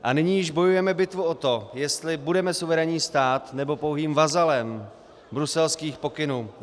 A nyní již bojujeme bitvu o to, jestli budeme suverénním státem, nebo pouhým vazalem bruselských pokynů.